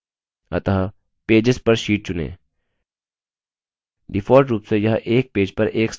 अतः pages per sheet चुनें default रुप से यह एक pages पर एक slide prints करता है